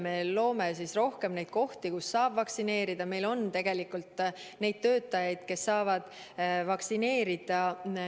Me loome rohkem kohti, kus saab vaktsineerida, meil on tegelikult neid töötajaid, kes saavad vaktsineerida.